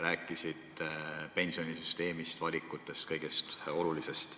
Räägiti pensionisüsteemist, valikutest – kõigest olulisest.